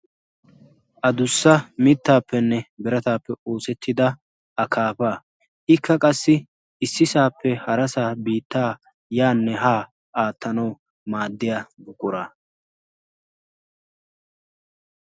adussa mittaappenne berataappe oosettida a kaafaikka qassi issisaappe harasaa biittaa' yaanne haa aattanawu maaddiya gugqora